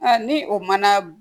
ni o mana